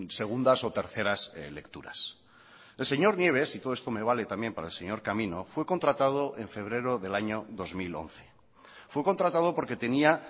segundas o terceras lecturas el señor nieves y todo esto me vale también para el señor camino fue contratado en febrero del año dos mil once fue contratado porque tenía